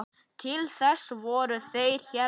Til þess voru þeir hérna.